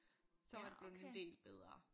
Så var det blevet en del bedre